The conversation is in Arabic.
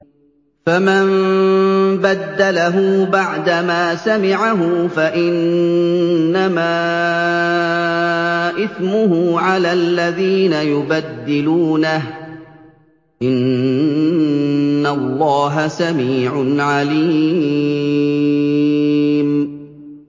فَمَن بَدَّلَهُ بَعْدَمَا سَمِعَهُ فَإِنَّمَا إِثْمُهُ عَلَى الَّذِينَ يُبَدِّلُونَهُ ۚ إِنَّ اللَّهَ سَمِيعٌ عَلِيمٌ